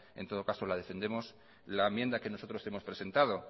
en todo caso la defenderemos la enmienda que nosotros hemos presentado